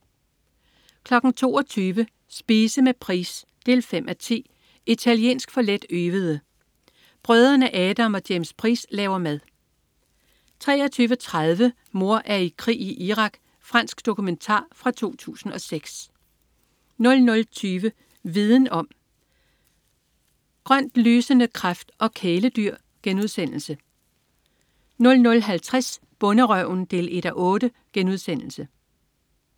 22.00 Spise med Price 5:10. "Italiensk for letøvede". Brødrene Adam og James Price laver mad 23.30 Mor er i krig i Irak. Fransk dokumentar fra 2006 00.20 Viden om: Grønt lysende kræft og kæledyr* 00.50 Bonderøven 1:8*